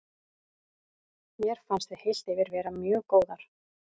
Mér fannst við heilt yfir vera mjög góðar.